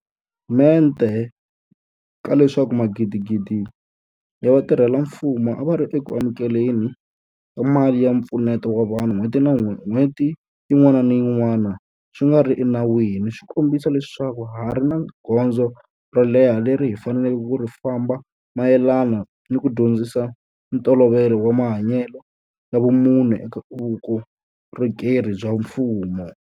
Mente ka leswaku magidigidi ya vatirhela mfumo a va ri eku amukele ni ka mali ya mpfuneto wa vanhu n'hweti yin'wana ni yin'wana swi nga ri enawini swi kombisa leswaku ha ha ri ni gondzo ro leha leri hi faneleke ku ri famba mayelana ni ku dyondzisa ntolovelo wa mahanyelo ya vumunhu eka vukorhokeri bya mfumo.